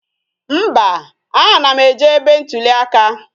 Mba, a na m eje ebe ntụli aka